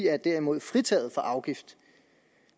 er derimod fritaget for afgift